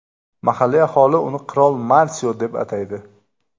Mahalliy aholi uni Qirol Marsio deb ataydi.